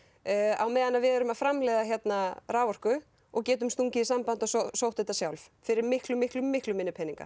á meðan við erum að framleiða hérna raforku og getum stungið í samband og sótt þetta sjálf fyrir miklu miklu miklu minni peninga